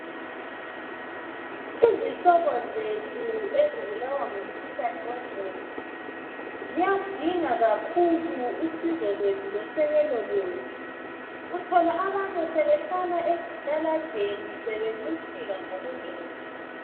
Izihlobo zethu ezibulawa ngumkhuhlane wengqondo. Zikundinga kakhulu usizo lwethu losekelo lwethu. Uthola abanye sebehlala ezitaladeni sebencithika ngokungcola.